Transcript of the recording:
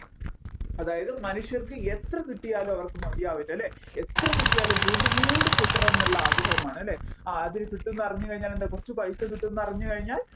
അതായത് മനുഷ്യർക്കും എത്ര കിട്ടിയാലും അവർക്കു മതിയാവില്ലല്ലേ എത്രകിട്ടിയാലും വീണ്ടും വീണ്ടും കിട്ടണം ഇല്ലേ ആഗ്രഹമാണ് ആദ്യം കിട്ടുമെന്ന് അറിഞ്ഞ് കഴിഞ്ഞാൽ എന്താണ് കുറച്ച് പൈസ കിട്ടുമെന്ന് അറിഞ്ഞ് കഴിഞ്ഞാൽ